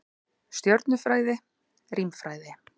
Stjörnufræði, rímfræði.